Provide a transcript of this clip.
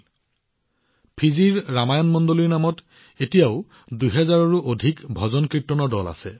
আজিও ফিজিত ৰামায়ণ মণ্ডলী নামেৰে দুই হাজাৰৰো অধিক ভজনকীৰ্তন মণ্ডলী আছে